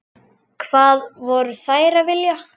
Hvað voru þeir að vilja?